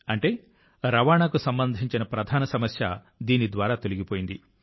అంటే రవాణాకు సంబంధించిన ప్రధాన సమస్య దీని ద్వారా తొలగిపోయింది